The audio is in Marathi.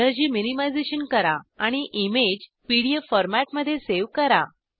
एनरी मिनिमायझेशन करा आणि इमेज पीडीएफ फॉरमेटमध्ये सेव करा